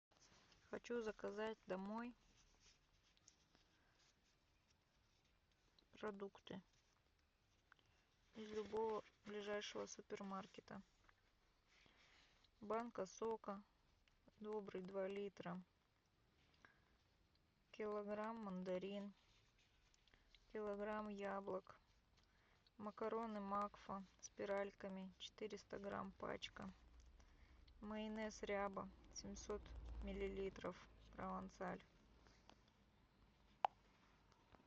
хочу заказать домой продукты из любого ближайшего супермаркета банка сока добрый два литра килограмм мандарин килограмм яблок макароны макфа спиральками четыреста грамм пачка майонез ряба семьсот миллилитров провансаль